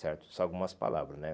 certo São algumas palavras, né?